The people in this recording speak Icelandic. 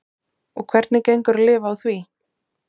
Og hvernig gengur að lifa á því?